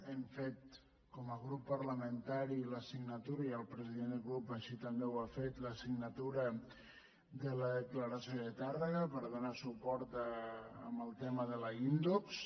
hem fet com a grup parlamentari i el president de grup així també ho ha fet la signatu·ra de la declaració de tàrrega per donar suport al te·ma de la indox